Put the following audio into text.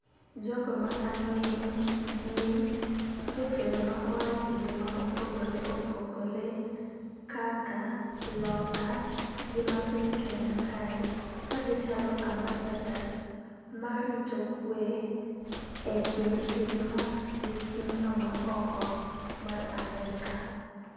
Jogo ma ang'eyo gin jotelo ma aaye pinje mopogore opogore kaka loka gi mapiny kenya kae. Ka gichalo ambasadors ma rito kwe e kind pinywa gi pinyno ma oko mar Amerka.